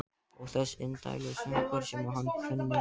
Ó þessir indælu söngvar sem hann kunni.